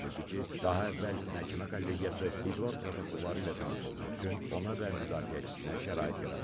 Bildirdi ki, daha əvvəl məhkəmə kollegiyası iclas protokolları ilə tanış olmaq üçün ona və müdafiəçisinə şərait yaradıb.